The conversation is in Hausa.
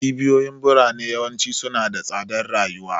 Cibiyoyin birane yawanci suna da tsadar rayuwa.